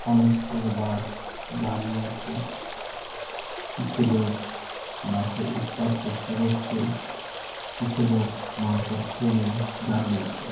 অনেক গুলো বাস দাঁড়িয়ে আছে। কিছু লোক বাস -এ উঠবার চেষ্টা করছে কিছু লোক মালপত্র নিয়ে দাঁড়িয়ে আছে।